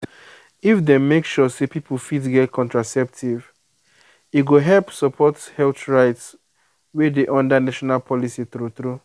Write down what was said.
if dem make sure say people fit get contraceptive e go help support health rights wey dey under national policy true true.